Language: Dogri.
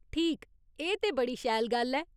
ठीक, एह् ते बड़ी शैल गल्ल ऐ।